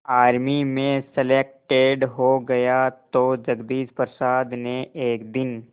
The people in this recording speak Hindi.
आर्मी में सलेक्टेड हो गया तो जगदीश प्रसाद ने एक दिन